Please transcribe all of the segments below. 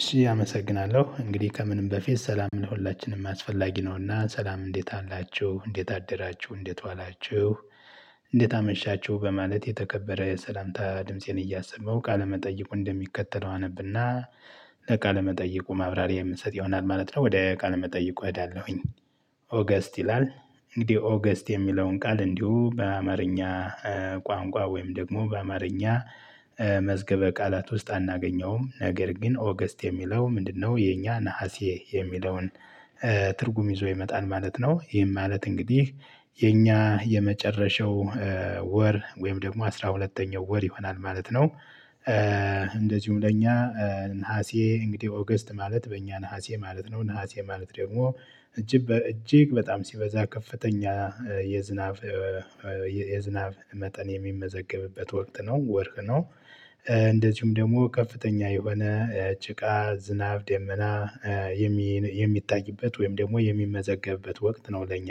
እሺ አመሰግናለሁ። እንግዲህ ከምንም በፊት ሰላም ለሁላችንም አስፈላጊ ነውና ሰላም እንዴት አላችሁ። እንዴት አደራችሁ። እንዴት ዋላችሁ። እንዴት አመሻችሁ በማለት የተከበረ የሰላምታ ድምፄን እያሰማሁ ቃለመጠይቁን እንደሚከተለው አነብና- ለቃለመጠይቁ ማብራሪያ የምሰጥ ይሆናል ማለት ነው። ወደ ቃለመጠይቁ እሄዳለሁኝ። ኦገስት ይላል። እንግዲህ ኦገስት የሚለውን ቃል እንዲሁ በአማርኛ ቋንቋ ወይም ደግሞ በአማርኛ- መዝገበ ቃላት ውስጥ አናገኘውም። ነገር ግን ኦገስት የሚለው ምንድነው የኛ ነሀሴ የሚለውን- ትርጉም ይዞ ይመጣል ማለት ነው። ይህም ማለት እንግዲህ- የኛ የመጨረሻው ወር ወይም ደግሞ አስራ ሁለተኛው ወር ይሆናል ማለት ነው። እንደዚሁም ለእኛ- ነሀሴ እንግዲህ ኦገስት ማለት በእኛ ነሀሴ ማለት ነው። ነሀሴ ማለት ደግሞ- እጅግ በጣም ሲበዛ ከፍተኛ የዝናብ የዝናብ መጠን የሚመዘገብበት ወቅት ነው። ወርህ ነው: እንደዚሁም ደግሞ ከፍተኛ የሆነ ጭቃ :ዝናብ ደመና- የሚታይበት ወይም ደግሞ የሚመዘገብበት ወቅት ነው ለኛ።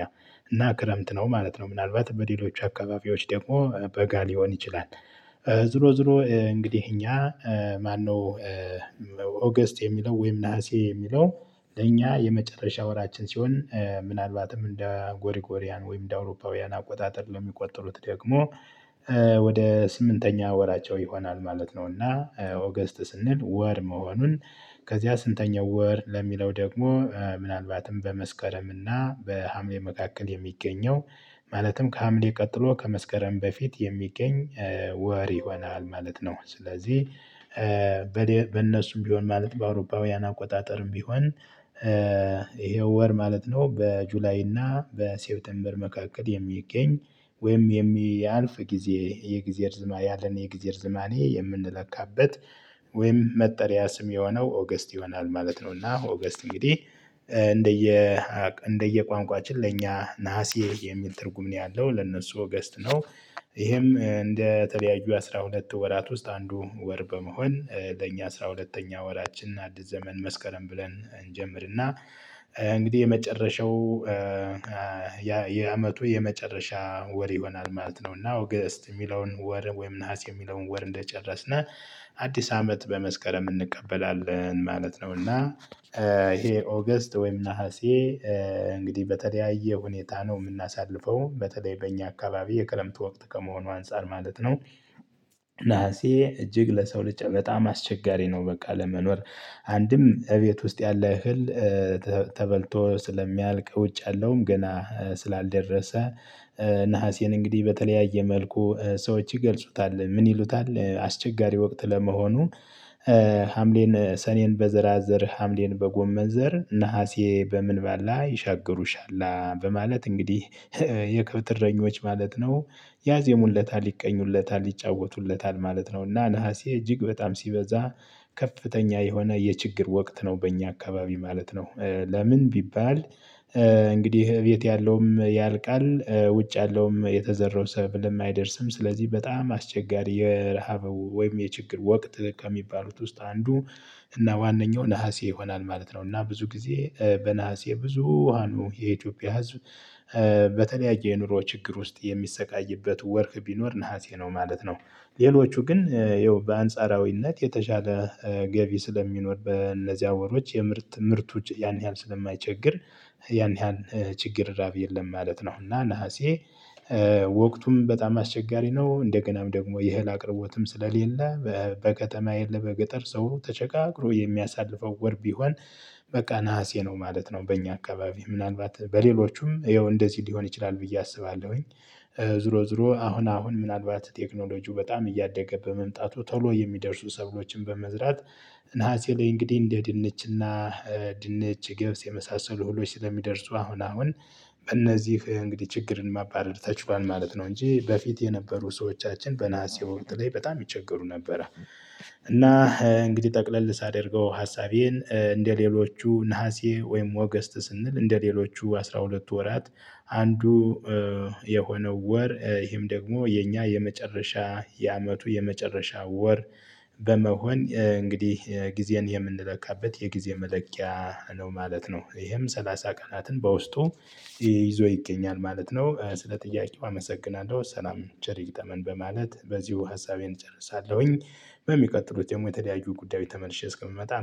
እና ክረምት ነው ማለት ነው። ምናልባት በሌሎች አካባቢዎች ደግሞ በጋ ሊሆን ይችላል። ዝሮ ዝሮ እንግዲህ እኛ ማነው- ኦገስት የሚለው ወይም ነሀሴ የሚለው ለእኛ የመጨረሻ ወራችን ሲሆን ምናልባትም እንደ ጎሪጎሪያን ወይም እንደ አውሮፓውያን አቆጣጠር ለሚቆጥሩት ደግሞ- ወደ ስምንተኛ ወራቸው ይሆናል ማለት ነው። እና ኦገስት ስንል ወር መሆኑን- ከዚያ ስንተኛው ወር ለሚለው ደግሞ ምናልባትም በመስከረም እና በሀምሌ መካከል የሚገኘው ማለትም ከሀምሌ ቀጥሎ ከመስከረም በፊት የሚገኝ ወር ይሆናል ማለት ነው። ስለዚህ- በእነሱም ቢሆን ማለት በአውሮፓውያን አቆጣጠርም ቢሆን ይሄው ወር ማለት ነው። በጁላይ እና በሴብቴምበር መካከል የሚገኝ ወይም የሚያልፍ ጊዜ የጊዜ ርዝማኔ ያለን የጊዜ ርዝማኔ የምንለካበት ወይም መጠሪያ ስም የሆነው ኦገስት ይሆናል ማለት ነው። እና ኦገስት እንግዲህ እንደየ እንደየቋንቋችን ለእኛ ነሀሴ የሚል ትርጉም ነው ያለው ለነሱ ወገስት ነው። ይህም እንደተለያዩ አስራ ሁለት ወራት ውስጥ አንዱ ወር በመሆን ለእኛ አስራ ሁለተኛ ወራችን አዲስ ዘመን መስከረም ብለን እንጀምርና- እንግዲህ የመጨረሻው የአመቱ የመጨረሻ ወር ይሆናል ማለት ነው። እና ኦገስት የሚለውን ወር ወይም ነሀስ የሚለውን ወር እንደጨረስነ- አዲስ አመት በመስከረም እንቀበላለን ማለት ነው። እና ይሄ ኦገስት ወይም ነሀሴ እንግዲህ በተለያየ ሁኔታ ነው የምናሳልፈው በተለይ በእኛ አካባቢ የክረምቱ ወቅት ከመሆኑ አንፃር ማለት ነው- ነሀሴ እጅግ ለሰው ልጅ አስቸጋሪ ነው። በቃ ለመኖር አንድም እቤት ውስጥ ያለ እህል ተበልቶ ስለሚያልቅ ውጭ ያለውም ገና ስላልደረሰ- ነሀሴን እንግዲህ በተለያየ መልኩ ሰዎች ይገልጹታል። ምን ይሉታል አስቸጋሪ ወቅት ለመሆኑ- ሀምሌን ሰኔን በዘራዘር ሀምሌን በጎመን ዘር ነሀሴ በምን ባላ ይሻገሩሻላ በማለት እንግዲህ የከብት እረኞች ማለት ነው ያዜሙለታል። ይቀኙለታል። ይጫወቱለታል። ማለት ነው። እና ነሀሴ እጅግ በጣም ሲበዛ- ከፍተኛ የሆነ የችግር ወቅት ነው በእኛ አካባቢ ማለት ነው። ለምን ቢባል- እንግዲህ እቤት ያለውም ያልቃል ውጭ ያለውም የተዘረው ሰብልም አይደርስም ስለዚህ በጣም አስቸጋሪ የረሃብ ወይም የችግር ወቅት ከሚባሉት ውስጥ አንዱ- እና ዋነኛው ነሀሴ ይሆናል ማለት ነው። እና ብዙ ጊዜ በነሐሴ ብዙሃኑ የኢትዮጵያ ህዝብ- በተለያየ የኑሮ ችግር ውስጥ የሚሰቃይበት ወርህ ቢኖር ነሀሴ ነው ማለት ነው። ሌሎቹ ግን ይኸው በአንጻራዊነት የተሻለ ገቢ ስለሚኖር በእነዚያ ወሮች የምርት ምርቱ ያን ያህል ስለማይቸግር ያን ያን ችግር ራብ የለም ማለት ነው። እና ነሀሴ- ወቅቱም በጣም አስቸጋሪ ነው። እንደገናም ደግሞ የእህል አቅርቦትም ስለሌለ- በከተማ የለ በገጠር ሰው ተቸጋግሮ የሚያሳልፈው ወር ቢሆን- በቃ ነሀሴ ነው ማለት ነው። በእኛ አካባቢ ምናልባት በሌሎቹም ይኸው እንደዚህ ሊሆን ይችላል ብዬ አስባለሁኝ። ዝሮ ዝሮ አሁን አሁን ምናልባት ቴክኖሎጂው በጣም እያደገ በመምጣቱ ቶሎ የሚደርሱ ሰብሎችን በመዝራት- ነሀሴ ላይ እንግዲህ እንደ ድንችና ድንች ገብስ የመሳሰሉ ሁሎች ስለሚደርሱ አሁን አሁን- በእነዚህ እንግዲህ ችግርን ማባረድ ተችሏል ማለት ነው እንጂ። በፊት የነበሩ ሰዎቻችን በነሀሴ ወቅት ላይ በጣም ይቸገሩ ነበረ። እና እንግዲህ ጠቅለል ስአድርገው ሀሳቤን እንደሌሎቹ ነሀሴ ወይም ኦገስት ስንል እንደሌሎቹ አስራ ሁለት ወራት አንዱ- የሆነው ወር ይሄም ደግሞ የኛ የመጨረሻ የአመቱ የመጨረሻ ወር- በመሆን እንግዲህ ጊዜን የምንለካበት የጊዜ መለኪያ- ነው ማለት ነው። ይሄም ሰላሳ ቀናትን በውስጡ ይዞ ይገኛል ማለት ነው። ስለ ጥያቄው አመሰግናለሁ። ሰላም ቸር ይግጠመን በማለት በዚሁ ሀሳቤን እጨርሳለሁኝ። በሚቀጥሉት የተለያዩ ጉዳዮች ተመልሼ እስከምመጣ: